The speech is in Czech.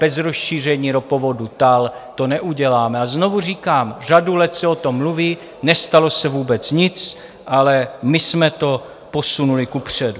Bez rozšíření ropovodu TAL to neuděláme a znovu říkám: řadu let se o tom mluví, nestalo se vůbec nic, ale my jsme to posunuli kupředu.